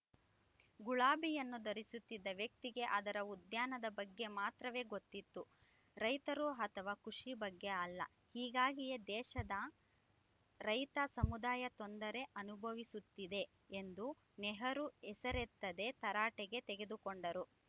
ಗುಲಾಬಿಯನ್ನು ಧರಿಸುತ್ತಿದ್ದ ವ್ಯಕ್ತಿಗೆ ಅದರ ಉದ್ಯಾನದ ಬಗ್ಗೆ ಮಾತ್ರವೇ ಗೊತ್ತಿತ್ತು ರೈತರು ಅಥವಾ ಕೃಷಿ ಬಗ್ಗೆ ಅಲ್ಲ ಹೀಗಾಗಿಯೇ ದೇಶದ ರೈತ ಸಮುದಾಯ ತೊಂದರೆ ಅನುಭವಿಸುತ್ತಿದೆ ಎಂದು ನೆಹರು ಹೆಸರೆತ್ತದೇ ತರಾಟೆಗೆ ತೆಗೆದುಕೊಂಡರು